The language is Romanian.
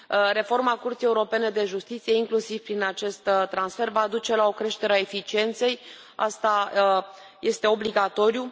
Reforma Curții Europene de Justiție, inclusiv prin acest transfer, va duce la o creștere a eficienței, acest lucru este obligatoriu.